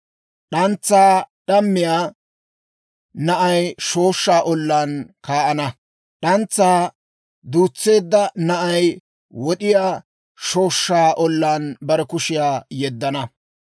D'antsaa d'ammiyaa na'ay shooshshaa ollaan kaa'ana; d'antsaa duutseedda na'ay wod'iyaa shooshshaa ollaan bare kushiyaa yeddana.